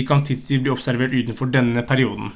de kan tidvis bli observert utenfor denne perioden